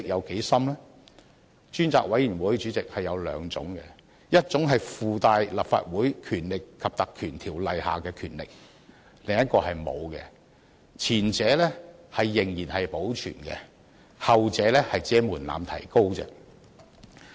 主席，專責委員會可分為兩類，一類擁有《立法會條例》賦予的權力，另一類則沒有；前者仍然保存，後者只是提高了門檻。